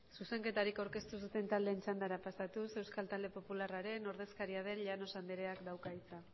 zuzenketarik aurkeztu ez duten taldeen txandara pasatuz euskal talde popularraren ordezkaria den llanos andreak dauka hitza